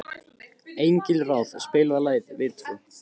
Engilráð, spilaðu lagið „Við tvö“.